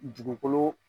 Dugukolo